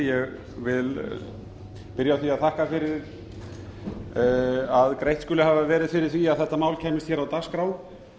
virðulegi forseti ég vil byrja á því að þakka fyrir að greitt skuli hafa verið fyrir að þetta mál kæmist hér á dagskrá